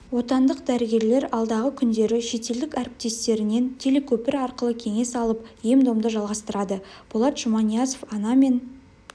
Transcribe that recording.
отандық дәрігерлер алдағы күндері шетелдік әріптестерінен телекөпір арқылы кеңес алып ем-домды жалғастырады болат жұманиязов ана мен